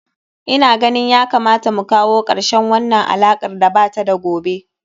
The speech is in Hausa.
Ina ganin ya kamata mu kawo karshen wannan alakar da ba ta da gobe.